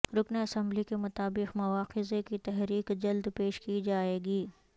رکن اسمبلی کے مطابق مواخذے کی تحریک جلد پیش کی جائے گی